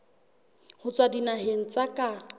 ho tswa dinaheng tsa ka